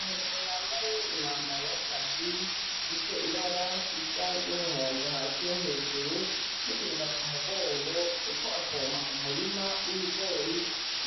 Umugabo yambaye umwambaro wakazi ufise ibara risa numuhondo hasi no hejuru nikiriba ku mugongo ariko apompa umurima wibigori